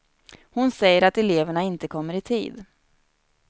Hon säger att eleverna inte kommer i tid.